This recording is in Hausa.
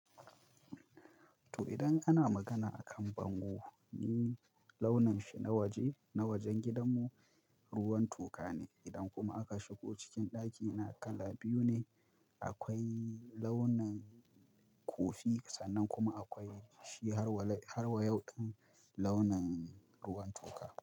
To idan ana magana akan bango, ni launin shi na waje na wajen gidanmu ruwan toka ne. Idan kuma aka shigo cikin ɗakina kala biyu ne, akwai launin kofi sannan kuma akwai shi har wa yauɗen launin ruwan toka.